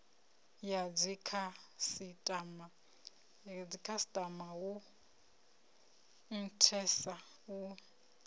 ya dzikhasitama hu nthesa u